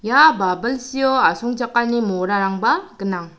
ia babilsio asongchakani morarangba gnang.